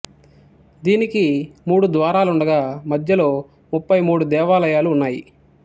దీనికి మూడు ద్వారాలుండగా మధ్యలో ముప్పై మూడు దేవాలయాలు ఉన్నాయి